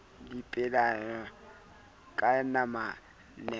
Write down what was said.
le dipelaelo ka yonamabapi le